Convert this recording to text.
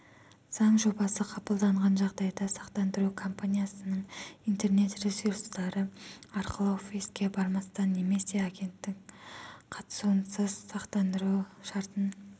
заң жобасы қабылданған жағдайда сақтандыру компаниясының интернет ресурстары арқылы офиске бармастан немесе агенттің қатысуынсыз сақтандыру шартын